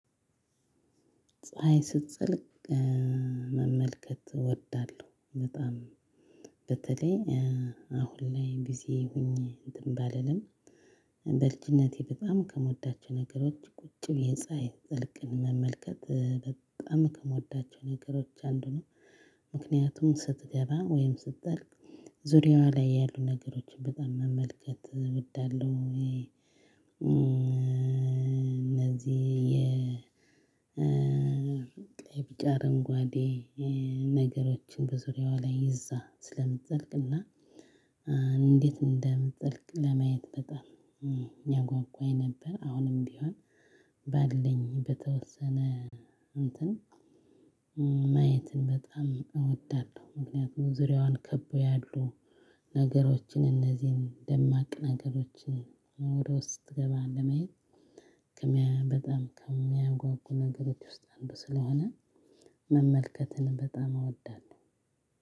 ፀሀይ ስትጠልቅ መመልከት እወዳለሁ በጣም በተለይ አሁን ላይ ጊዜ ሁኜ እንትን ባልልም በልጅነቴ በጣም ከምወዳቸው ነገሮች ቁጭ ብዬ ፀሀይን ስትጠልቅ መመልከት በጣም ከምወዳቸው ነገሮች አንዱ ነው። ምክንያቱም ስትገባ ወይም ስትጠልቅ ዙሪያዋ ላይ ያሉ ነገሮችን በጣም መመልከት እወዳለሁ። እነዚህ ቀይ ቢጫ አረንጓዴ ነገሮችን በዙሪያዋ ላይ ይዛ ስለምትጠልቅና እንዴት እንደምትጠልቅ? ለማየት በጣም ያጓጓኝ ነበር። አሁንም ቢሆን ባለኝ በተወሰነ እንትን ማየትን በጣም እወዳለሁ። ምክንያቱም ዙሪያዋን ከቦ ያሉ ነገሮችን እነዚህን ደማቅ ነገሮችን ኖሮ ውስጥ ስትገባ ለማየት በጣም ከሚያጓጉ ነገሮች ውስጥ አንዱ ስለሆነ መመልከትን በጣም አወዳለሁ።